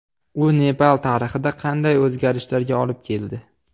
U Nepal tarixida qanday o‘zgarishlarga olib keldi?